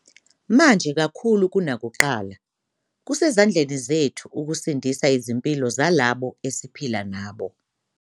Manje kakhulu kunakuqala, kusezandleni zethu ukusindisa izimpilo zalabo esiphila nabo.